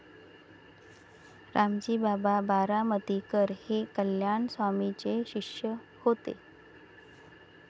रामजी बाबा बारामतीकर हे कल्याण स्वामींचे शिष्य होते.